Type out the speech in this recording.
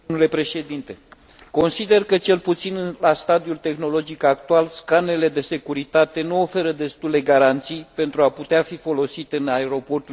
Consider că, cel puțin la stadiul tehnologic actual, scanerele de securitate nu oferă destule garanții pentru a putea fi folosite în aeroporturile din Uniunea Europeană.